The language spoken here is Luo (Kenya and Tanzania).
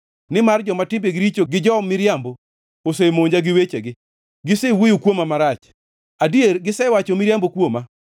nimar joma timbegi richo gi jo-miriambo osemonja gi wechegi; gisewuoyo kuomwa marach, adier gisewacho miriambo kuoma.